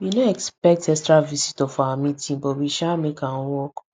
we no expect extra visitors for our meeting but we sha make am work